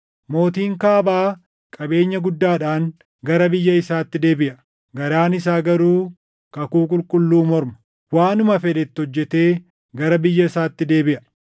Mootiin Kaabaa qabeenya guddaadhaan gara biyya isaatti deebiʼa; garaan isaa garuu kakuu qulqulluu morma. Waanuma fedhe itti hojjetee gara biyya isaatti deebiʼa.